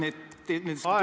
Aeg!